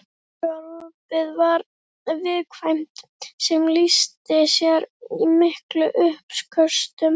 Magaopið var viðkvæmt sem lýsti sér í miklum uppköstum.